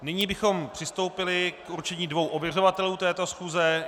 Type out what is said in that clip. Nyní bychom přistoupili k určení dvou ověřovatelů této schůze.